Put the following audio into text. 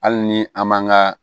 Hali ni an man ka